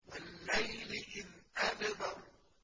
وَاللَّيْلِ إِذْ أَدْبَرَ